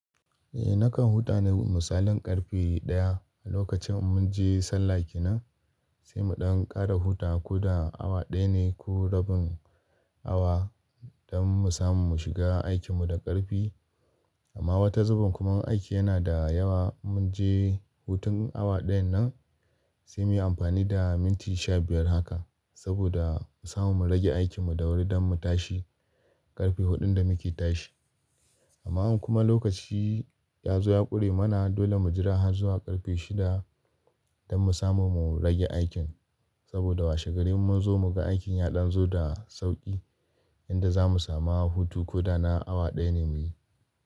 Eh nakan huta na misalin karfe daya a lokacin mun je sallah kenan sai mu ɗan kara huta ko da awa daya ne ko rabin awa dan mu samu mu shiga aikin mu da karfi. Amma wata zuben kuma in aiki yana da yawa mun je hutun awa dayan nan sai mu yi amfani da minti sha biyar haka saboda mu samu mu rage aikin mu da wuri dan mu tashi karfe hudun da muke tashi. Amma kuma lokaci ya zo ya kure mana dole mu jira har zuwa karfe shida dan mu samu mu rage aikin saboda washe gare mu zo mu ga aikin ya ɗan zo da sauki yanda za mu samu hutu ko da na awa daya ne muyi.